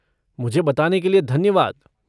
मुझे बताने के लिए धन्यवाद।